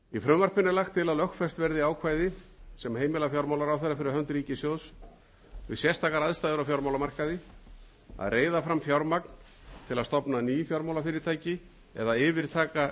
frumvarpinu er lagt til að lögfest verði ákvæði sem heimila fjármálaráðherra fyrir hönd ríkissjóðs við sérstakar aðstæður á fjármálamarkaði að reiða fram fjármagn til að stofna ný fjármálafyrirtæki eða yfirtaka